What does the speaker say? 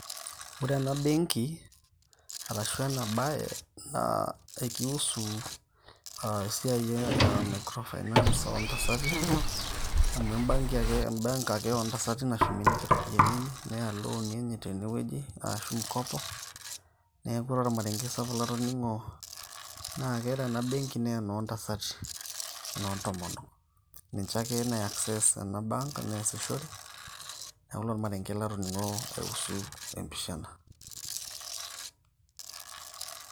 ore ena benki arashu ena baye naa ekiusu esiai e microfinance oontasati amu embenki ake oontasati nashumie ninche ropiyiani enye neya ilooni enye tenewueji aashu mkopo neeku ore ormarenge sapuk latoning`o naa kore ena benki naa enoontasati enoontomono ninche ake naa access ena bank neasishore neeku ilo olmarenge latoning`o aiusu empisha ena.